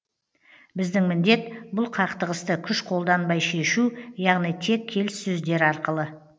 біздің міндет бұл қақтығысты күш қолданбай шешу яғни тек келіссөздер арқылы